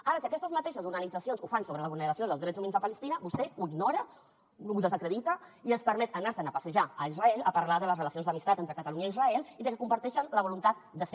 ara si aquestes mateixes organitzacions ho fan sobre la vulneració dels drets humans a palestina vostè ho ignora ho desacredita i es permet anar se’n a passejar a israel a parlar de les relacions d’amistat entre catalunya i israel i que comparteixen la voluntat de ser